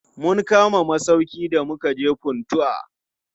Mun kama masauƙi da mukaje Funtua.